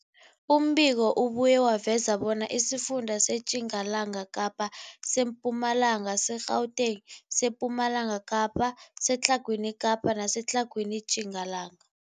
Umbiko ubuye waveza bona isifunda seTjingalanga Kapa, seMpumalanga, seGauteng, sePumalanga Kapa, seTlhagwini Kapa neseTlhagwini Tjingalanga.